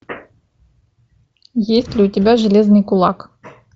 есть ли у тебя железный кулак